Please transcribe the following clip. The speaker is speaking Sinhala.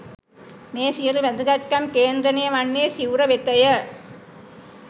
මේ සියලු වැදගත්කම් කේන්ද්‍රණය වන්නේ සිවුර වෙතය.